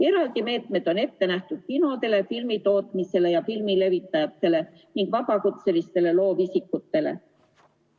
Eraldi meetmed on ette nähtud kinodele, filmitootmisele ja filmilevitajatele ning vabakutselistele loovisikutele.